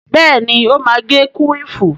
Bẹ́ẹ̀ni, ó má agé kúwìfù